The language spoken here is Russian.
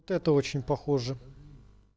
это очень похоже